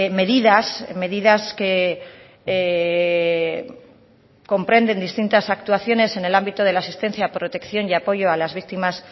medidas medidas que comprenden distintas actuaciones en el ámbito de la asistencia protección y apoyo a las víctimas